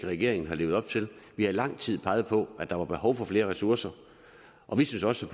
regeringen har levet op til vi har i lang tid peget på at der var behov for flere ressourcer og vi synes også